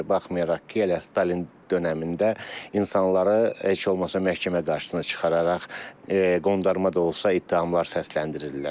Baxmayaraq ki, elə Stalin dönəmində insanları heç olmasa məhkəmə qarşısına çıxararaq qondarma da olsa ittihamlar səsləndirilirdi.